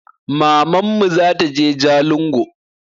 Mamanmu zataje jalingo